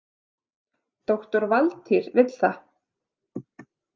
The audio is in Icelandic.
Doktor Valtýr vill það.